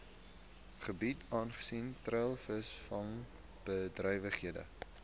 gebiede aangesien treilvisvangbedrywighede